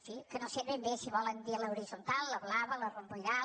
sí que no sé ben bé si volen dir l’horitzontal la blava la romboïdal